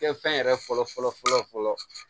Kɛ fɛn yɛrɛ fɔlɔ fɔlɔ fɔlɔ fɔlɔ fɔlɔ